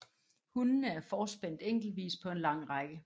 Hundene er forspændt enkeltvis på en lang række